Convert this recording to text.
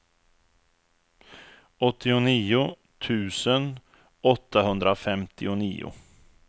åttionio tusen åttahundrafemtionio